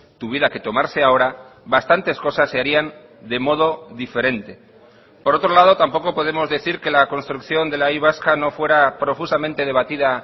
tuviera que tomarse ahora bastantes cosas se harían de modo diferente por otro lado tampoco podemos decir que la construcción de la y vasca no fuera profusamente debatida